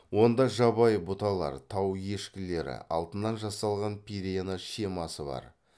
онда жабайы бұталар тау ешкілері алтыннан жасалған пирена шемасы бар